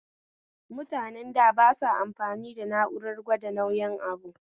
Mutanen da basa amfani da na'urar gwada nauyin abu